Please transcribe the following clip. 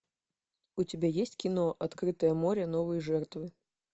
у тебя есть кино открытое море новые жертвы